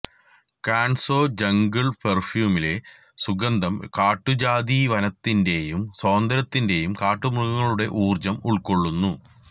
കാൺസോ jungle പെർഫ്യൂമിലെ സുഗന്ധം കാട്ടുജാതിയ വനത്തിൻറെയും സ്വാതന്ത്യത്തിൻറെയും കാട്ടുമൃഗങ്ങളുടെ ഊർജ്ജം ഉൾക്കൊള്ളുന്നു